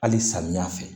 Hali samiya fɛ